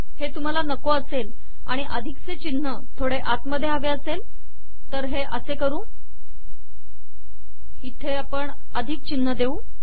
हे तुम्हाला नको असेल आणि अधिक चे चिन्ह थोडे आत हवे असेल तर हे असे करू अधिक चिन्ह इथे देऊ